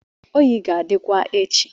oyi ga-adịkwa echi